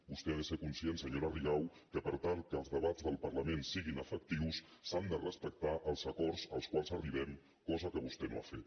vostè ha de ser conscient senyora rigau que per tal que els debats del parlament siguin efectius s’han de respectar els acords als quals arribem cosa que vostè no ha fet